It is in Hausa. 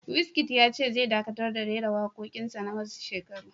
Wizkid ya ce zai dakatar da raira waƙoƙin na wasu shekaru